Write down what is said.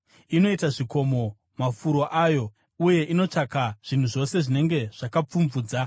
Inoita zvikomo mafuro ayo uye inotsvaka zvinhu zvose zvinenge zvakapfumvudza.